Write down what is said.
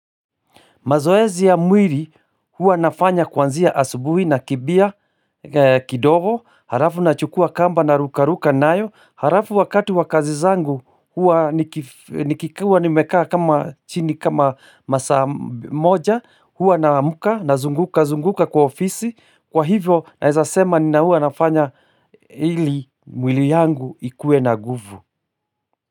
Mazoezi ya mwili hua nafanya kuanzia asubuhi nakimbia kidogo, halafu nachukua kamba naruka ruka nayo, halafu wakati wa kazi zangu hua niki nikikua nimekaa kama chini kama masaa moja, hua naamka nazunguka zunguka kwa ofisi, kwa hivyo naeza sema na hua nafanya ili mwili yangu ikue na nguvu.